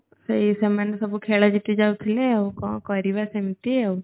ସେଇ ସେମାନେ ସବୁ ଖେଳ ଜିତି ଯାଉଥିଲେ ଆଉ କଣ କରିବା ସେମତି ଆଉ